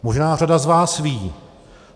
Možná řada z vás ví.